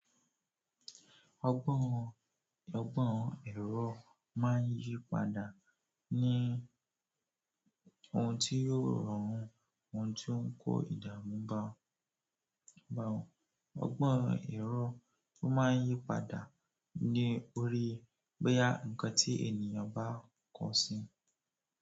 Ọgbọ́n, ọgbọ́n ẹ̀rọ máà ń yí padà ní ohun tí yóò rọrùn, ohun tí ó ń kó ìdààmú bá ọ, bá ọ. Ọgbọ́n ẹ̀rọ tó máà ń yí padà ni ó rí bóyá nǹkan tí ènìyàn bá kọ sí.